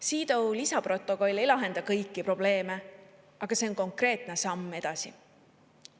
CEDAW lisaprotokoll ei lahenda kõiki probleeme, aga see on konkreetne samm edasi.